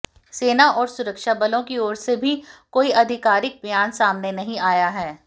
सेना और सुरक्षा बलों की ओर से भी कोई आधिकारिक बयान सामने नहीं आया है